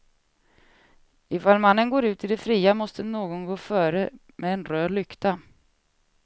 Ifall mannen går ut i det fria måste någon gå före med en röd lykta.